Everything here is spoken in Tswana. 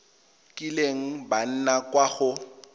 kileng ba nna kwa go